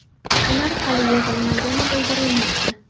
Ular hali yig‘ilmagani bildirilmoqda.